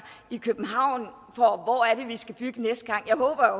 i københavn på hvor det er vi skal bygge næste gang jeg håber